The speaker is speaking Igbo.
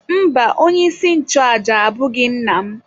Mba, onyeisi nchụàjà abụghị nna m.